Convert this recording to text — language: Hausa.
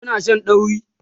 Kuna Shan dauri?